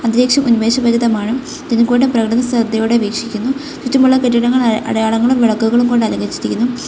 ദേശം ഉന്മേഷ ഫലിതമാണ് ഇതിൽക്കൂടെ പ്രകൃതി ശ്രദ്ധയോടെ വീക്ഷിക്കുന്നു ചുറ്റുമുള്ള കെട്ടിടങ്ങൾ അടയാളങ്ങളും വിളക്കുകളും കൊണ്ട് അലങ്കരിച്ചിരിക്കുന്നു.